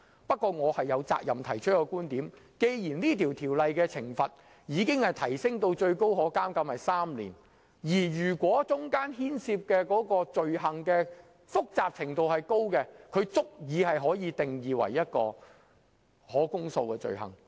不過，我有責任提出我的觀點，就是既然這項《條例草案》已將罰則提升至最高可監禁3年，而牽涉的罪行又相當複雜，其實已足以定義為可公訴罪行。